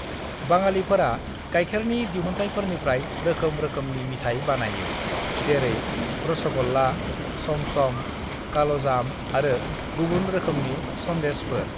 "बाङालिफोरा गायखेरनि दिहुनथायफोरनिफ्राय रोखोम रोखोमनि मिथाइ बानायो, जेरै रश'गल्ला, चमचम, काल'जाम आरो गुबुन रोखोमनि सन्देशफोर।"